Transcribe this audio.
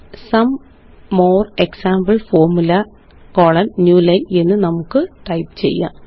സോം more example formulae new line എന്ന് നമുക്ക് type ചെയ്യാം